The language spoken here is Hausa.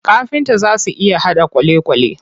Kafinta zaa su iya haɗa kwalekwale.